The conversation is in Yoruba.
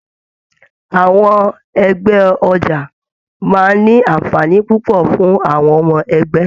Àwọn ẹgbẹ ọja máa n ní anfààní púpọ̀ fún àwọn ọmọ ẹgbẹ.